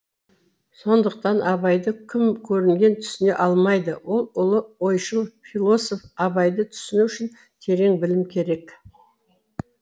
сондықтан абайды кім көрінген түсіне алмайды ол ұлы ойшыл философ абайды түсіну үшін терең білім керек